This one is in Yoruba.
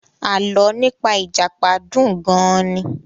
Alọ́ nípa ìjàpá dùn gan-an ni.